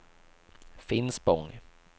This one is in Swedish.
Finspång